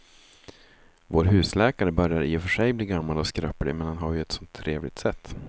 Vår husläkare börjar i och för sig bli gammal och skröplig, men han har ju ett sådant trevligt sätt!